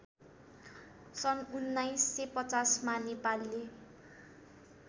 सन् १९५० मा नेपालले